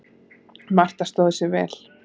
Marta stóð sig vel.